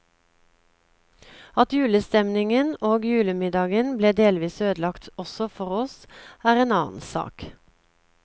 At julestemningen og julemiddagen ble delvis ødelagt også for oss, er en annen sak.